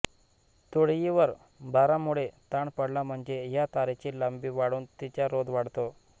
तुळईवर भारामुळे ताण पडला म्हणजे या तारेची लांबी वाढून तिचा रोध वाढतो